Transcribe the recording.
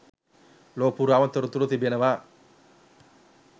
ලොව පුරාම තොරතුරු තිබෙනවා.